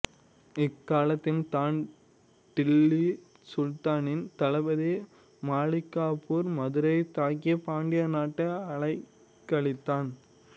இக்காலத்தில் தான் டில்லி சுல்தானின் தளபதி மாலிக்காபூர் மதுரையை தாக்கி பாண்டிய நாட்டை அலைக்கழித்தான்